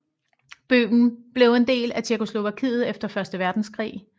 Bøhmen blev en del af Tjekkoslovakiet efter første verdenskrig